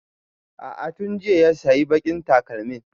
A'a tun jiya ya sayi baƙin takalmin